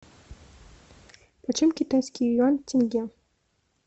почем китайский юань в тенге